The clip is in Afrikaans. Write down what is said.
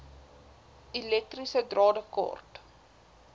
elektriese drade kort